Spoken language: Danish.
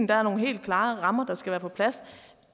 der er nogle helt klare rammer der skal være på plads